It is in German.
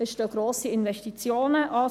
Es stehen grosse Investitionen an.